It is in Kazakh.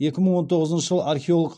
екі мың он тоғызыншы жылы археолог